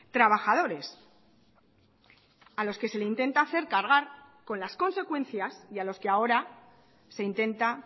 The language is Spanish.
trabajadores a los que se le intenta hacer cargar con las consecuencias y a los que ahora se intenta